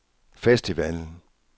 festivalen